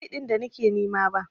Ban ga Mai din da nake nima ba.